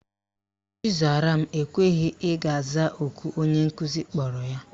Chizaram ekweghi ị gaa zaa oku onye nkuzi kpọrọ ya.